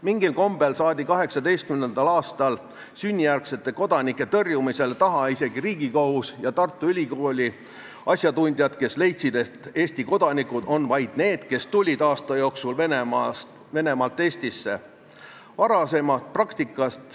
Mingil kombel saadi 2018. aastal sünnijärgsete kodanike tõrjumisel taha isegi Riigikohus ja Tartu Ülikooli asjatundjad, kes leidsid, et Eesti kodanikud on vaid need, kes tulid aasta jooksul Venemaalt Eestisse.